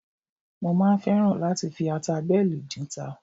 Mo máa ń fẹ́ràn láti fi ata bẹ́ẹ̀lì dínta